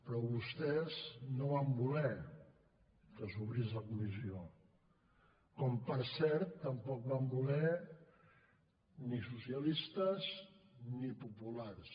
però vostès no van voler que s’obrís la comissió com per cert tampoc ho van voler ni socialistes ni populars